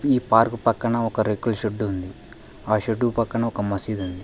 ఈ పార్కు పక్కన ఒక రెక్కల షెడ్ ఉంది ఆ షెడ్డు పక్కన ఒక మసీదు ఉంది